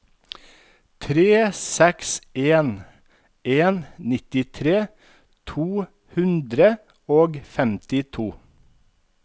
tre seks en en nittitre to hundre og femtito